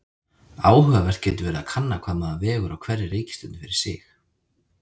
Áhugavert getur verið að kanna hvað maður vegur á hverri reikistjörnu fyrir sig.